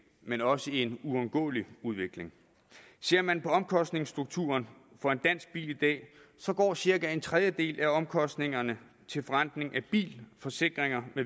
men også en uundgåelig udvikling ser man på omkostningsstrukturen for en dansk bil i dag så går cirka en tredjedel af omkostningerne til forrentning af bil forsikringer